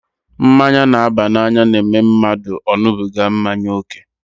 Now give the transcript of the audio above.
Mmanya n'aba n'anya n'eme mmadụ ọ ṅubiga mmanya ókè